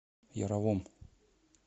яровом